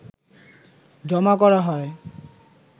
জমা করা হয়